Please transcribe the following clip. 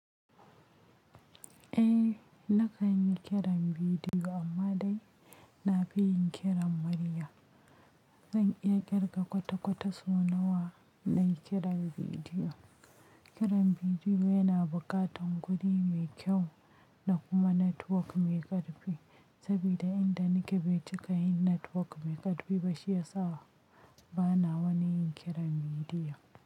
Eh, na kan yi kiran bidiyo ammadai na fi yin kiran murya. Zan iya kirga kwata-kwata sona wa na yi kiran bidiyo. Kiran bidiyo yana buƙatar guri mai kyau da kuma network mai ƙarfi, saboda yanda nake bai cika yin network mai ƙarfi ba, shi ya sa ba na wani yin kiran bidiyo.